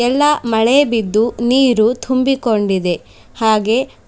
ಎಲ್ಲಾ ಮಳೆ ಬಿದ್ದು ನೀರು ತುಂಬಿ ಕೊಂಡಿದೆ ಹಾಗೆ--